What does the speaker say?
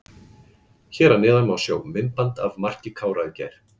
Hér að neðan má sjá myndband af marki Kára í gær.